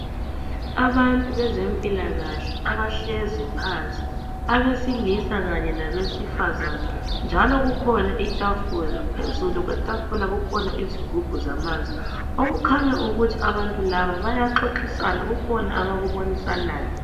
Abantu bezempilakahle abahlezi phansi abesilisa kanye labesifazana njalo kukhona itafula phezulu kwetafula kukhona izigubhu zamanzi okukhanya ukuthi abantu laba bayaxoxisana kukhona abakubonisanayo.